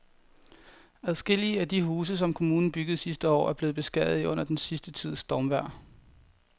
Adskillige af de huse, som kommunen byggede sidste år, er blevet beskadiget under den sidste tids stormvejr.